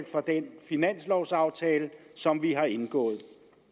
for den finanslovaftale som vi har indgået